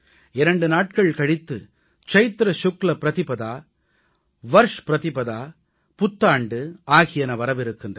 இரண்டு நாட்கள் கழித்து சைத்ர சுக்ல ப்ரதிபதா வர்ஷ் ப்ரதிபதா புத்தாண்டு ஆகியன வரவிருக்கின்றன